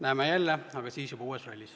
Näeme jälle, aga siis olen juba uues rollis.